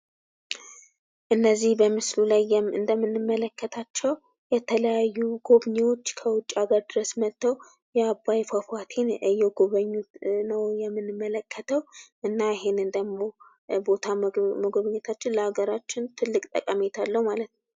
እነዚህ በምስሉ ላይ እንደምንመለከታቸው የተለያዩ ጎብኝዎች ከውጭ ሀገር ድረስ መጠው የአባይ ፏፏቴን እየጎበኙት ነው የምንመለከተው እና ይህን ቦታ ደግሞ መጎብኘታችን ለአገራችን ትልቅ ጠቀሜታ አለው።